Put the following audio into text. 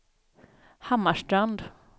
Hammarstrand